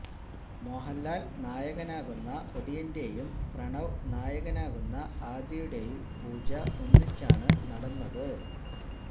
മോഹന്ലാല് നായകനാകുന്ന ഒടിയന്റെയും പ്രണവ് നായകനാകുന്ന ആദിയുടെയും പൂജ ഒന്നിച്ചാണ് നടന്നത്